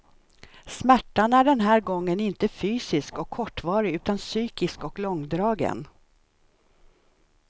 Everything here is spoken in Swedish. Smärtan är den här gången inte fysisk och kortvarig utan psykisk och långdragen.